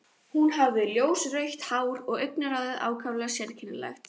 Hún hafði ljósrautt hár og augnaráðið ákaflega sérkennilegt.